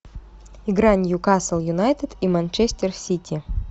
игра ньюкасл юнайтед и манчестер сити